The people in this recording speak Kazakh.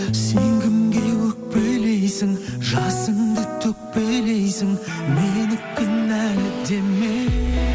сен кімге өкпелейсің жасыңды төкпелейсің мені кінәлі деме